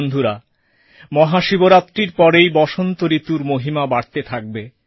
বন্ধুরা মহাশিবরাত্রির পরেই বসন্ত ঋতুর মহিমা বাড়তে থাকবে